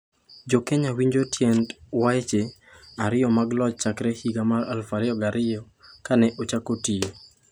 'Jo Kenya winjo tiend weche ariyo mag loch chakre higa mar 2002, ka ne ochako tiyo.